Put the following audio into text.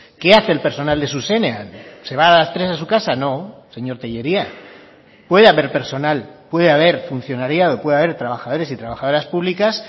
qué hace el personal de zuzenean se va a las tres a su casa no señor tellería puede haber personal puede haber funcionariado puede haber trabajadores y trabajadoras públicas